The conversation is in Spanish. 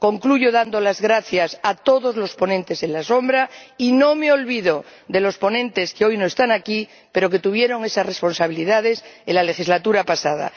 Concluyo dando las gracias a todos los ponentes alternativos, y no me olvido de los ponentes que hoy no están aquí, pero que tuvieron esas responsabilidades en la legislatura pasada.